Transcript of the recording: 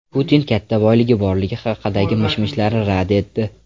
Putin katta boyligi borligi haqidagi mish-mishlarni rad etdi.